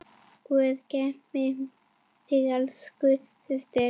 Guð geymi þig, elsku systir.